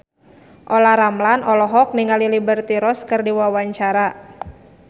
Olla Ramlan olohok ningali Liberty Ross keur diwawancara